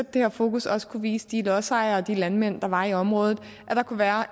det her fokus også kunne vise de lodsejere og de landmænd der var i området at der kunne være